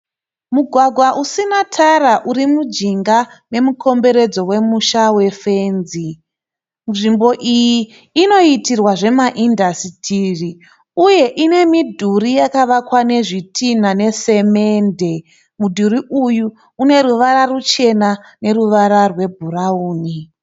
Mugwagwa usina tara urimujinga memukomberedzo wemusha wefenzi. Nzvimbo iyi inoitirwa zvemaindasitiri uye inemidhuri yakavakwa nezvitina nesemende. Mudhuri uyu uneruvara ruchena neruvara rwe bhurauni.